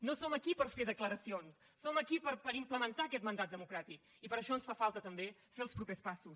no som aquí per fer declaracions som aquí per implementar aquest mandat democràtic i per això ens fa falta també fer els propers passos